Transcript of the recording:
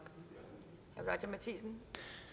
så